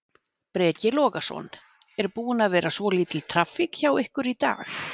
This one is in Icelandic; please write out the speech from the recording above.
Breki Logason: Er búin að vera svolítil traffík hjá ykkur í dag?